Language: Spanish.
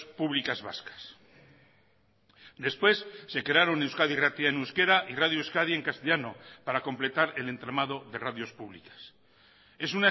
públicas vascas después se crearon euskadi irratia en euskera y radio euskadi en castellano para completar el entramado de radios públicas es